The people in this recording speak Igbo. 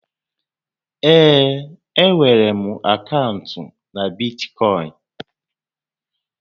Ee, e nwèrè m akaụntụ na Bitkọịn